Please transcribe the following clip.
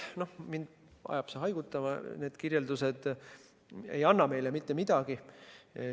Noh, mind ajab see haigutama, need kirjeldused ei anna meile mitte midagi.